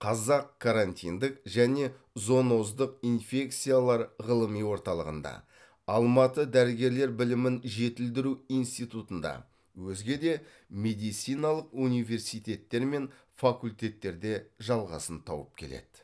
қазақ карантиндік және зооноздық инфекциялар ғылыми орталығында алматы дәрігерлер білімін жетілдіру институтында өзге де медициналық университеттер мен факультеттерде жалғасын тауып келеді